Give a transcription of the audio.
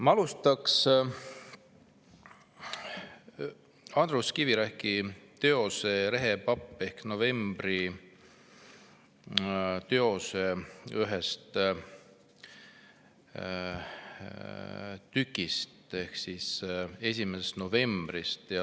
Ma alustan Andrus Kivirähki teose "Rehepapp ehk November" ühest osast, "1. novembrist".